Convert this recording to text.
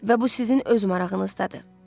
Və bu sizin öz marağınızdadır.